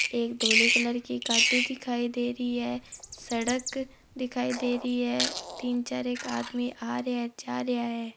एक धोली कलर की गाड़ी दिखाई दे रही हैं सडक दिखाई दे रही हैं तीन चार आदमी आ रहा जा रहा हैं।